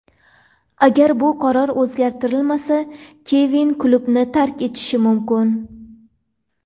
Agar bu qaror o‘zgartirilmasa, Kevin klubni tark etishi mumkin.